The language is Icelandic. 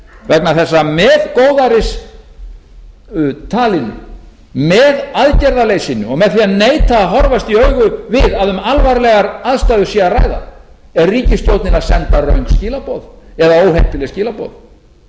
vegna þess að með góðæristalinu með aðgerðaleysinu og með því að neita að horfast í augu við að um alvarlegar aðstæður sé að ræða er ríkisstjórnin að senda röng skilaboð eða óheppileg skilaboð